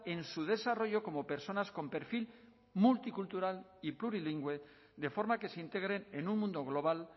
en su desarrollo como personas con perfil multicultural y plurilingüe de forma que se integren en un mundo global